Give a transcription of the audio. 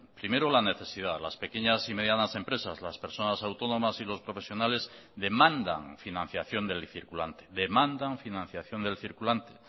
primero la necesidad las pequeñas y medianas empresas las personas autónomas y los profesionales demandan financiación del circulante demandan financiación del circulante